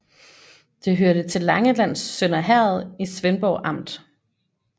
Det hørte til Langelands Sønder Herred i Svendborg Amt